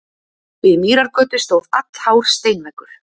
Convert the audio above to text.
Við Mýrargötu stóð allhár steinveggur.